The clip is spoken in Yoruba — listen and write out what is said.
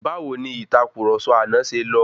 Báwo ni ìtàkurọ̀sọ àná ṣe lọ?